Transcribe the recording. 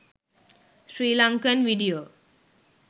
sri lankan video